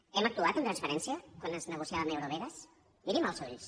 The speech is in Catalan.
hem actuat amb transparència quan es nego ciava amb eurovegas mirin me als ulls